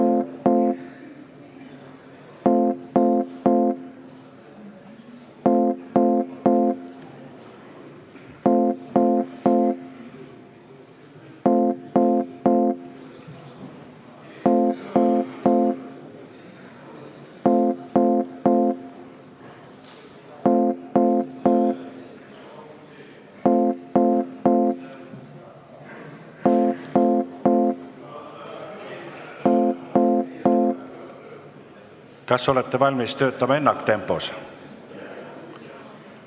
Kas olete valmis töötama ennaktempos?